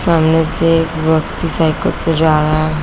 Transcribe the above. सामने से एक व्यक्ति साइकिल से जा रहा --